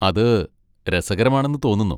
അത് രസകരമാണെന്ന് തോന്നുന്നു.